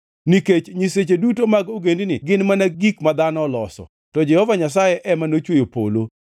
Nikech nyiseche duto mag ogendini gin mana gik ma dhano oloso, to Jehova Nyasaye ema nochweyo polo.